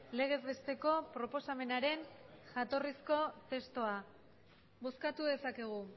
legez besteko proposamenaren jatorrizko testua bozkatu dezakegu